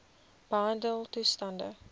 behandeltoestande